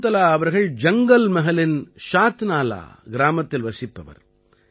சகுந்தலா அவர்கள் ஜங்கல்மஹலின் ஷாத்நாலா கிராமத்தில் வசிப்பவர்